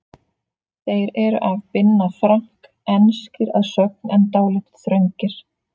Þeir eru af Binna Frank, enskir að sögn en dálítið þröngir.